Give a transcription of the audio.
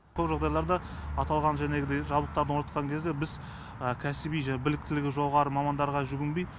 көп жағдайларда аталған жәнегідей жабдықтар орнатқан кезде біз кәсіби біліктілігі жоғары мамандарға жүгінбей